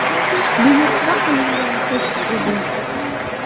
Buyurtma qilingan qo‘shiq edi.